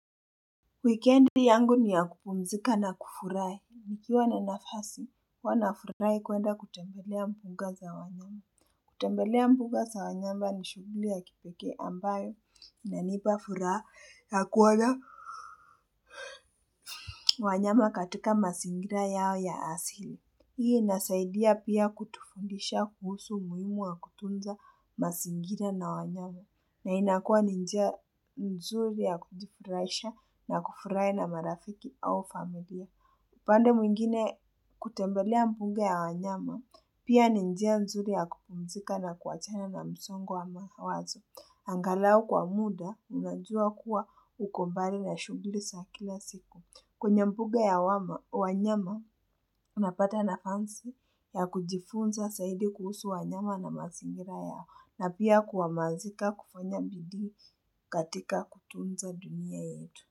Wikendi yangu ni ya kupumzika na kufurai. Nikiwa na nafasi, huwanafurai kuenda kutembelea mbuga za wanyama. Kutembelea mbuga za wanyama ni shughuli ya kipekee ambayo inanipa fura ya kuona. Wanyama katika masingira yao ya asili. Hii inasaidia pia kutufundisha kuhusu muhimu wa kutunza mazingira na wanyama. Na inakua ni njia nzuri ya kujifurahisha na kufurai na marafiki au familia. Upande mwingine kutembelea mbunga ya wanyama, pia ni njia nzuri ya kupumzika na kuachana na msongo wa mawazo. Angalau kwa muda, unajua kuwa ukombali na shughuli za kila siku. Kwenye mbuga ya wama wanyama unapata na nafansi ya kujifunza zaidi kuhusu wanyama na mazingira yao na pia kuhamazika kufanya bidii katika kutunza dunia yetu.